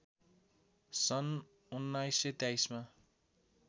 सन् १९२३मा